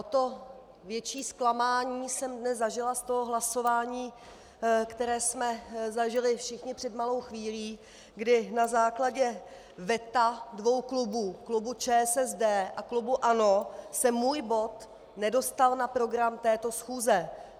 O to větší zklamání jsem dnes zažila z toho hlasování, které jsme zažili všichni před malou chvílí, kdy na základě veta dvou klubů, klubu ČSSD a klubu ANO, se můj bod nedostal na program této schůze.